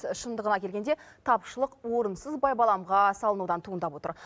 шындығына келгенде тапшылық орынсыз байбаламға салынудан туындап отыр